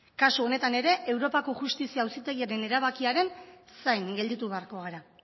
kasu honetan ere europako justizia auzitegiaren erabakiaren zain gelditu beharko gara